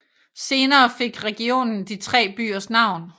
Senere fik regionen de tre byers navn